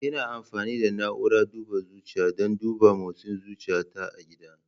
Ina amfani da na'urar duba zuciya don duba motsin zuciyata a gida.